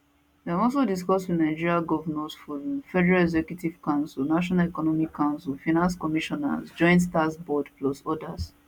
dem also discuss wit nigeria govnors forum federal executive council national economic council finance commissioners joint tax board plus odas